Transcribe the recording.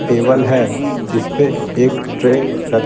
table हैजिस पे एक ट्रे र --